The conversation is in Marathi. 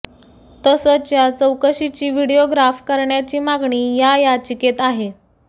तसंच या चौकशीची व्हिडिओग्राफ करण्याची मागणी या याचिकेत आहे